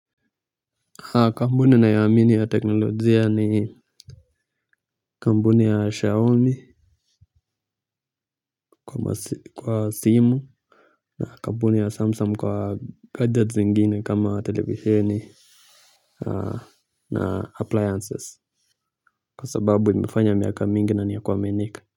Kampuni ninayoamini ya teknolojia ni kampuni ya Xiaomi kwa simu na kampuni ya Samsung kwa gadgets zingine kama televisieni na appliances kwa sababu imefanya miaka mingi na niya kuaminika.